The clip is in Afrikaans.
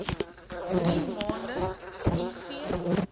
drie maande iv